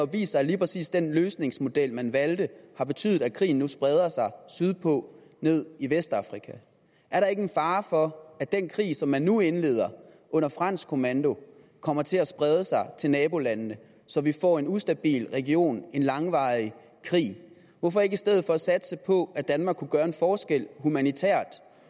vist sig at lige præcis den løsningsmodel man valgte har betydet at krigen nu spreder sig sydpå ned i vestafrika er der ikke en fare for at den krig som man nu indleder under fransk kommando kommer til at sprede sig til nabolandene så vi får en ustabil region og en langvarig krig hvorfor ikke i stedet for satse på at danmark kunne gøre en forskel humanitært